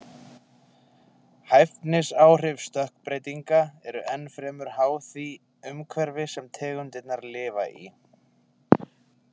Hæfnisáhrif stökkbreytinga eru enn fremur háð því umhverfi sem tegundirnar lifa í.